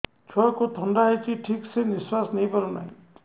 ଛୁଆକୁ ଥଣ୍ଡା ହେଇଛି ଠିକ ସେ ନିଶ୍ୱାସ ନେଇ ପାରୁ ନାହିଁ